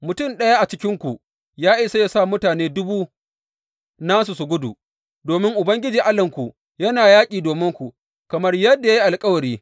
Mutum ɗaya a cikinku ya isa yă sa mutane dubu nasu su gudu, domin Ubangiji Allahnku yana yaƙi dominku, kamar yadda ya yi alkawari.